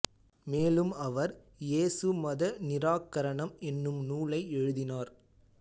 மேலும் அவர் இயேசு மத நிராகரணம் என்னும் நூலை எழுதினார்